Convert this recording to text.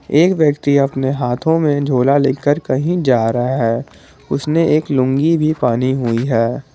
एक व्यक्ति अपने हाथों में झूला लेकर कहीं जा रहा है उसने एक लूंगी भी पानी हुई है।